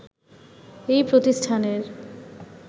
এই প্রতিষ্ঠানের